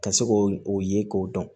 Ka se k'o o ye k'o dɔn